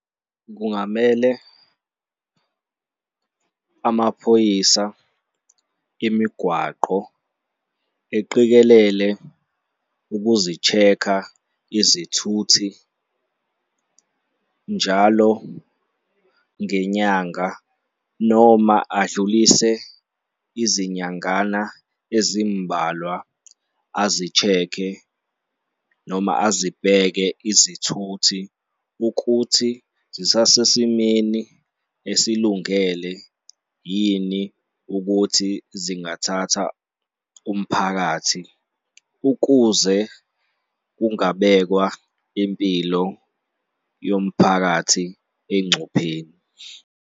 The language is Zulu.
Kungamele amaphoyisa imigwaqo eqikelele ukuzi-check-a izithuthi njalo ngenyanga noma adlulise izinyangana ezimbalwa azi-check-e noma azibheke izithuthi ukuthi zisasesimeni esilungele yini ukuthi zingathatha umphakathi ukuze kungabekwa impilo yomphakathi engcupheni.